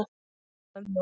Kalla á mömmur okkar?